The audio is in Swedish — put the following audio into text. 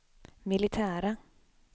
militära